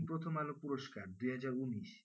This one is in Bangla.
প্রথম আলো পুরস্কার দুহাজার উনিশ,